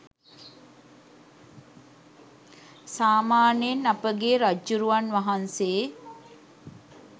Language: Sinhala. සාමාන්‍යයෙන් අපගේ රජ්ජුරුවන් වහන්සේ